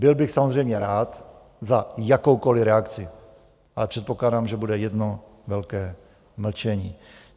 Byl bych samozřejmě rád za jakoukoli reakci, ale předpokládám, že bude jedno velké mlčení.